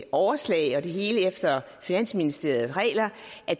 overslag og det hele efter finansministeriet regler og